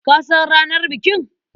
Ka san ranar bikin?